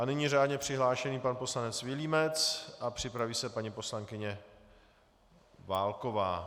A nyní řádně přihlášený pan poslanec Vilímec a připraví se paní poslankyně Válková.